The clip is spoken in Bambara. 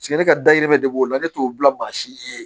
ne ka dayirimɛ de b'o la ne t'o bila mansin ye